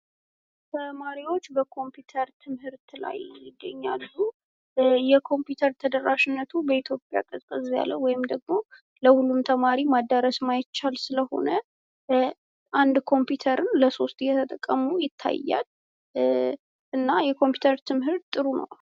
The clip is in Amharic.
ተማሪዎች በኮፒውተር ትምህርት ላይ ይገኛሉ። የኮፒውተር ተደራሽነቱ በኢትዮጵያ ቀዝቀዝ ያለ ወይም ለሁሉም ተማሪ ማዳረስ እማይቻል ስለሆነ። አንድ ኮፒተርን ለሶስት እየተጠቀሙ ይታያል። እና የኮፒውተር ትምህርት ጥሩ ነው።